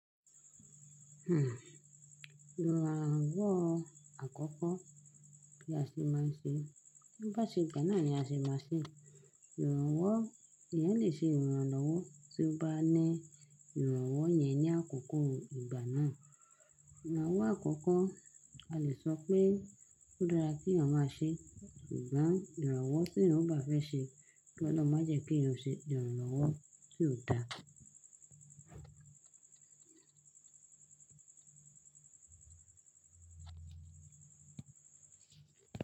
Ìrànwọ́ àkọ́kọ́ bí a ṣe máa ń ṣe, bo bá ṣe gbà náà ni a ṣe máa ṣe. Ìrànwọ́, eeyan lè ṣe ìrànlọ́wọ́ tí ó bá ní ìrànwọ́ yẹn ní àkókò ìgbà náà. Ìrànwọ́ àkọ́kọ́, a lè sọ pé ó dára kí èèyàn máa ṣe, ṣùgbọ́n ìrànwọ́ tí èèyàn ò bá fẹ́ ṣe, kí Ọlọ́run má jẹ́ kí èèyàn o ṣe ìrànlọ́wọ́ tí ò dáa.